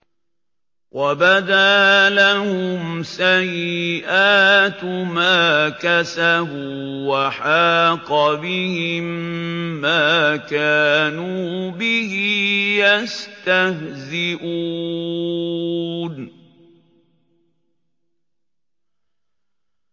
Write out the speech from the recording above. وَبَدَا لَهُمْ سَيِّئَاتُ مَا كَسَبُوا وَحَاقَ بِهِم مَّا كَانُوا بِهِ يَسْتَهْزِئُونَ